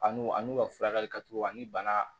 A n'u a n'u ka furakɛli ka co a ni bana